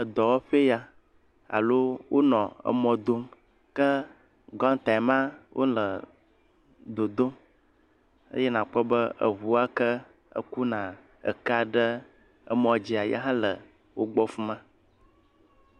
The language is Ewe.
Edɔwɔƒee ya alo wonɔ emɔ dom ke gɔntae ma wonɔ dodom eye nakpɔ be eŋu ya ke ekuna ekea ɖe emɔ dzia yihã le wogbɔ fi ma.